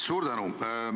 Suur tänu!